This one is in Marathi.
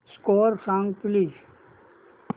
स्कोअर सांग प्लीज